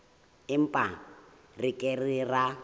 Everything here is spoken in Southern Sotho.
empa re ke ke ra